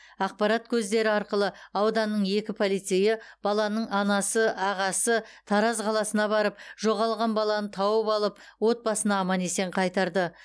ақпарат көздері арқылы ауданның екі полицейі баланың анасы ағасы тараз қаласына барып жоғалған баланы тауып алып отбасына аман есен қайтарды